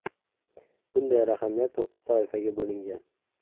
Bunday raqamlar to‘qqiz toifaga bo‘lingan.